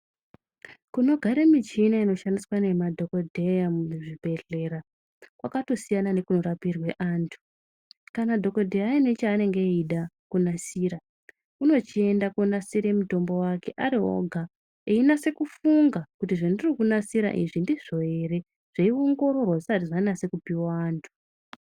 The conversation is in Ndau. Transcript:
Kunogare michina inoshandiswa nemadhokodheya muzvibhedhlera kwakatosiyana nekunorapirwe antu. Kana dhokodheya aine chaanenge eida kunasira, unochiende koonasira mutombo wake ari oga. Einase kufunga kuti zvandiri kunasira izvi ndizvo ere? Zveiongororwa zvisati zvanase kupuwa wa anthu.